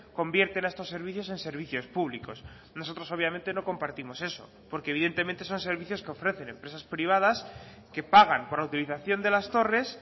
convierten a estos servicios en servicios públicos nosotros obviamente no compartimos eso porque evidentemente son servicios que ofrecen empresas privadas que pagan por la utilización de las torres